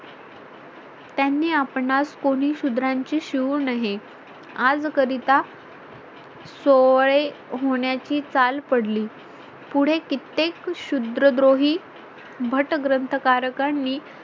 त्यांनी आपणास कोणी शूद्रांची शिवू नये आज करीता सोय होण्याची चाल पडली पुढे कित्येक शूद्रद्रोही भट्ट ग्रंथकाराकांनीं